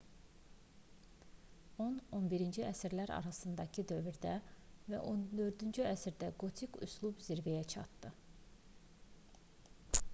10-11-ci əsrlər arasındakı dövrdə və 14-cü əsrdə qotik üslub zirvəyə çatdı